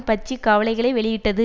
பற்றி கவலைகளை வெளியிட்டது